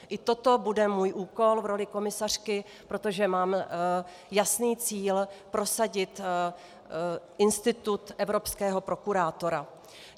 I toto bude můj úkol v roli komisařky, protože mám jasný cíl prosadit institut evropského prokurátora.